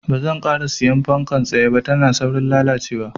Banzan ƙara siyan fankar tsaye ba, tana saurin lalacewa.